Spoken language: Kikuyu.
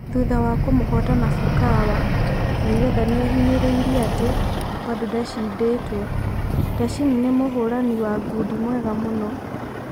Thutha wa kumũhota Nasukawa, Mayweather niahinyereirie ati: Bado ndashinditwo, Teshin ni mũhũrani wa ngundi mwega mũno.